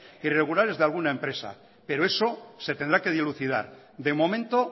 irregulares de alguna empresa pero eso se tendrá que dilucidar de momento